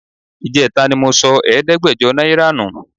Ìjẹta ni mo sọ ẹ̀ẹ́dẹ́gbẹ̀jọ náírà nù